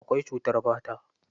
Akwai cutar fata.